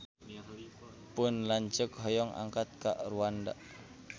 Pun lanceuk hoyong angkat ka Rwanda